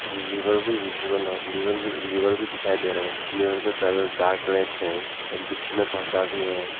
Liver भी visible और लिव लीवर भी लीवर भी दिखाई दे रहा है। लीवर का कलर डार्क रेड है एंड पीछे में पर्दा भी है।